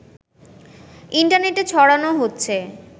ইন্টারনেটে ছড়ানো হচ্ছে